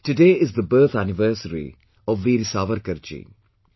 Today is the birth anniversary of Veer Savarkarjee